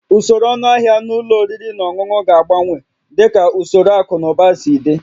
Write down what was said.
Usoro ọnụahịa na ụlọ oriri na ọṅụṅụ ga-agbanwe dịka usoro akụ na ụba si dị